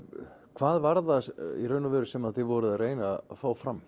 hvað var það í raun og veru sem þið voruð að reyna að fá fram